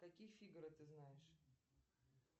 каких фигаро ты знаешь